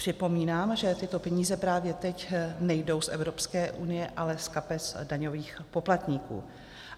Připomínám, že tyto peníze právě teď nejdou z Evropské unie, ale z kapes daňových poplatníků.